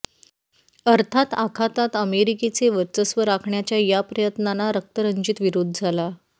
अर्थात आखातात अमेरिकेचे वर्चस्व राखण्याच्या या प्रयत्नांना रक्तरंजित विरोध झाला